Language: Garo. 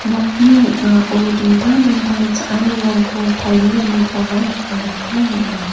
nokni ning·ao dingtang dingtang cha·anirangko palenganikoba nikna gita man·a.